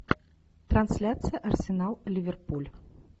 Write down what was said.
трансляция арсенал ливерпуль